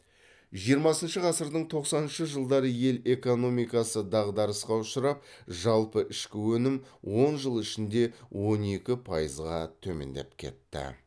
жиырмасыншы ғасырдың тоқсаныншы жылдары ел экономикасы дағдарысқа ұшырап жалпы ішкі өнім он жыл ішінде он екі пайызға төмендеп кетті